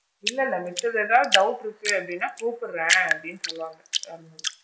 இல்ல இல்ல மிச்சது ஏதாவது doubt இருக்கு அப்படின்னா கூப்பிடுறேன் அப்படின்னு சொல்ல வந்தேன் வேற ஒன்னும் இல்ல.